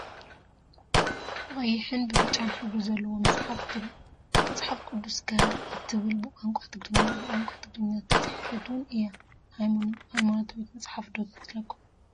ብቀይሕን ብብጫን ሕብሪ ዘለዋ መፅሓፍ ትረአ፡፡ መፅሓፍ ቅዱስካ እትብል ብቋንቋ ትግርኛ ብቋንቋ ትግርኛ ዝተፃሓፈት ውን እያ፡፡ ሃይማኖታዊት መፅሓፍ ዶ ትመስለኩም?